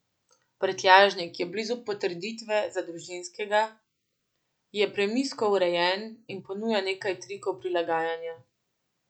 Prtljažnik je blizu potrditve za družinskega, je premijsko urejen in ponuja nekaj trikov prilagajanja.